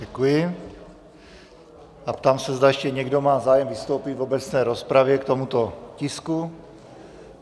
Děkuji a ptám se, zda ještě někdo má zájem vystoupit v obecné rozpravě k tomuto tisku.